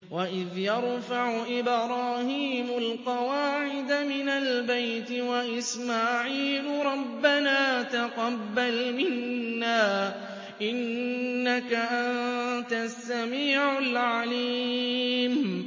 وَإِذْ يَرْفَعُ إِبْرَاهِيمُ الْقَوَاعِدَ مِنَ الْبَيْتِ وَإِسْمَاعِيلُ رَبَّنَا تَقَبَّلْ مِنَّا ۖ إِنَّكَ أَنتَ السَّمِيعُ الْعَلِيمُ